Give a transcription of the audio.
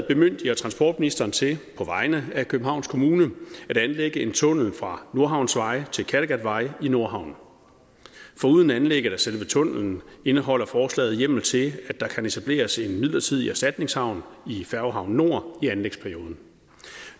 bemyndiger transportministeren til på vegne af københavns kommune at anlægge en tunnel fra nordhavnsvej til kattegatvej i nordhavnen foruden anlægget af selve tunnellen indeholder forslaget hjemmel til at der kan etableres en midlertidig erstatningshavn i færgehavn nord i anlægsperioden